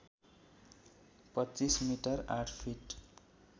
२५ मि ८ फिट